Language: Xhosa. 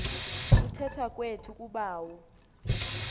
kuthetha kwethu kubawo